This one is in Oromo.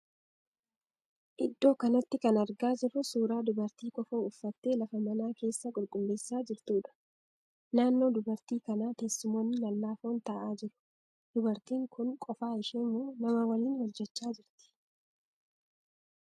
Iddoo kanatti kan argaa jirruu suuraa dubartii kofoo uffattee lafa mana keessaa qulqulleessaa jirtuudha. Naannoo dubartii kanaaa teessumoonni lallaafoon ta'aa jiru. Dubartiin kun qofaa ishee moo namaa waliin hojjecha jirti?